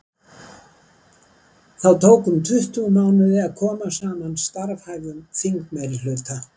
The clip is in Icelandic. þá tók um tuttugu mánuði að koma saman starfhæfum þingmeirihluta